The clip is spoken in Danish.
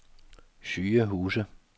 sygehuse